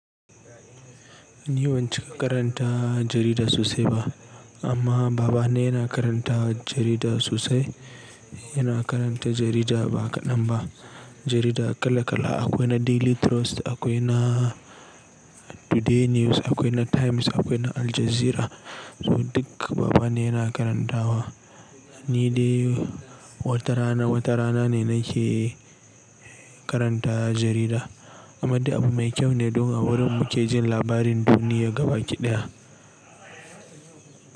Ni ban cika karanta jarida sosai ba amma babane na karanta jarida sosai. Yana karanta jarida ba kaɗan ba. Jarida kala kala akwai na Daily Trust, akwai na Today News, akwai na Times, akwai na Aljazeera. Duka babane na karantawa. Ni dai watarana, watarana ne nake karanta jarida amma dai abu mai kyau ne don a wurin muke jin labarin duniya gabaki ɗaya.